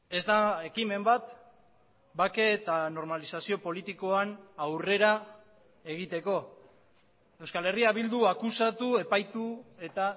ez da ekimen bat bake eta normalizazio politikoan aurrera egiteko euskal herria bildu akusatu epaitu eta